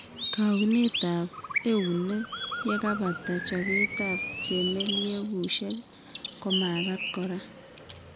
Kaunetab eunek yekebata chobetab chemelyegushek komagat kora.